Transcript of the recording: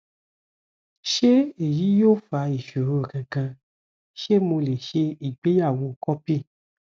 ṣé èyí yóò fa ìṣòro kankan ṣé mo lè ṣe ìgbéyàwó copy